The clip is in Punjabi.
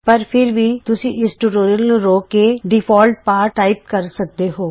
ਪਰ ਫਿਰ ਵੀ ਤੁਸੀਂ ਇਸ ਟਯੂਟੋਰਿਅਲ ਨੂੰ ਰੋਕ ਕੇ ਡਿਫੌਲਟ ਪਾਠ ਟਾਈਪ ਸਕਦੇ ਹੋ